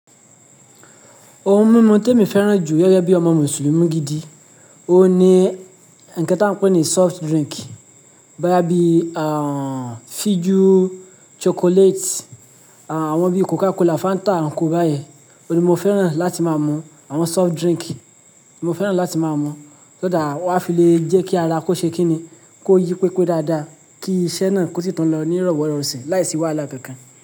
Oun mímu tí èmi fẹ́ràn jù gẹgẹ̀ bí ọmọ Mùsùlùmí gidi, òun ni ǹkẹ́ tí a ń pè ní soft drink, bóyá bí, àh, fijú, chocolate, àwọn bí Coca Cola, Fanta, and ko báyẹn. O ni mo fẹ́ràn láti máa mú àwọn soft drink, mo fẹ́ràn láti máa mú, so that á filé jẹ́ kí ara kó ṣe kí ni, kó yí pé pé dáadáa, kí iṣẹ́ náà kó sì tún lọ ní ìrọ̀wọ́rọ̀ rọsin láìsí wàhálà kankan.